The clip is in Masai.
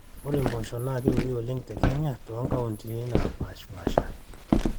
ore mpoosho naa keuni oleng te kenya too nkauntini naapaashipaasha